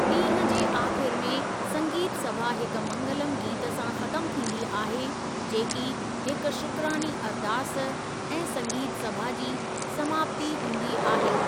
ॾींह जे आख़िर में संगीत सभा हिक मंगलमु गीत सां ख़त्मु थींदी आहे, जेकी हिकु शुक्रानी अरदास ऐं संगीत सभा जी समाप्ति हूंदी आहे।